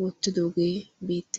wottidogge beettes.